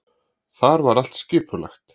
Þar var allt skipulagt.